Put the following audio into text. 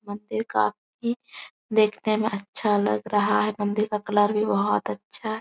मंदिर काफ़ी देखने में अच्छा लग रहा है। मंदिर का कलर भी बहुत अच्छा --